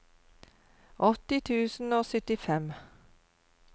åtti tusen og syttifem